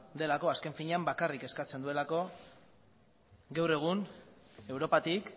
delako azken finean bakarrik eskatzen duelako gaur egun europatik